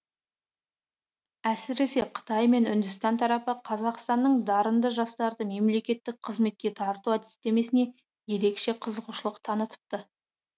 әсіресе қытай мен үндістан тарапы қазақстанның дарынды жастарды мемлекеттік қызметке тарту әдістемесіне ерекше қызығушылық танытыпты